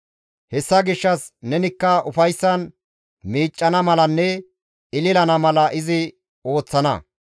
Hessa gishshas nenikka ufayssan miiccana malanne ‹Ililana› mala izi ooththana.